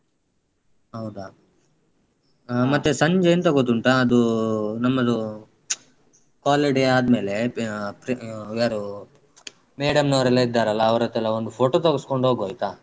ಹೌದಾ ಹಾ. ಆ ಮತ್ತೆ ಸಂಜೆ ಎಂತ ಗೊತ್ತುಂಟಾ ಅದೂ ನಮ್ಮದು. college day ಆದ್ಮೇಲೆ ಹ್ಮ್ ಪ್ರಿ ಆ ಯಾರು ಹ್ಮ್ madam ನವರೆಲ್ಲಾ ಇದ್ದಾರಲ್ಲ ಅವರತ್ರ ಒಂದು photo ತೆಗಿಸ್ಕೊಂಡ್ ಹೋಗುವ ಆಯ್ತಾ.